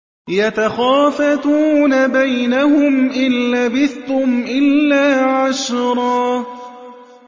يَتَخَافَتُونَ بَيْنَهُمْ إِن لَّبِثْتُمْ إِلَّا عَشْرًا